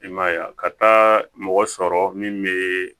I ma ye a ka taa mɔgɔ sɔrɔ min bɛ